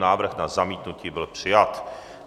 Návrh na zamítnutí byl přijat.